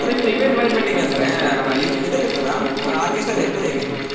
ನಿಮ್ದು event management ಗೆ ಅಂದ್ರೆ ಆ ಇದ್~ ಇದೆಲ್ಲ ಇರ್ತದಾ, ಆ orchestra ಎಲ್ಲ ಇರ್ತದಾ ಹೇಗೆ?